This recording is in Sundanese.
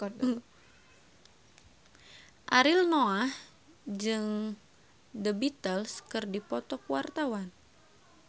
Ariel Noah jeung The Beatles keur dipoto ku wartawan